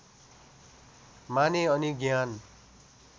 माने अनि ज्ञान